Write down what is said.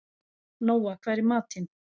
Nóa, hvað er í matinn?